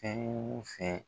Fɛn wo fɛn.